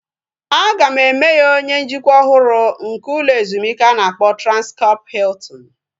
A ga-eme ya onye njikwa ọhụrụ nke ụlọ ezumike a na-akpọ Transkọp Hiltin